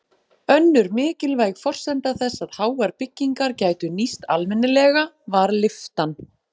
Önnur mikilvæg forsenda þess að háar byggingar gætu nýst almennilega var lyftan.